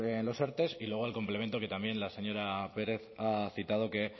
en los erte y luego el complemento que también la señora pérez ha citado que